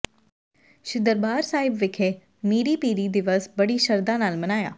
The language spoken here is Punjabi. ਸ੍ਰੀ ਦਰਬਾਰ ਸਾਹਿਬ ਵਿਖੇ ਮੀਰੀ ਪੀਰੀ ਦਿਵਸ ਬੜੀ ਸ਼ਰਧਾ ਨਾਲ ਮਨਾਇਆ